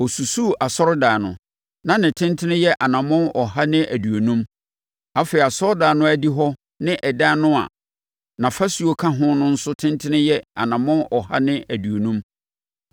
Ɔsusuu asɔredan no, na ne tentene yɛ anammɔn ɔha ne aduonum, afei asɔredan no adihɔ ne ɛdan no a nʼafasuo ka ho no nso tentene yɛ anammɔn ɔha ne aduonum.